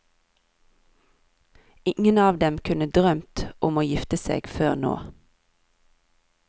Ingen av dem kunne drømt om å gifte seg før nå.